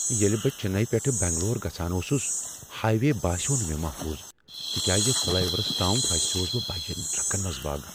ییٚلہ بہ چنئی پیٹھٕ بنگلور گژھان اوسس ،ہایوے باسیوٚو نہٕ مےٚ محفوظ تکیازِ فلیورس تام پھسیوس بہ بجن ٹرکن منز باگ۔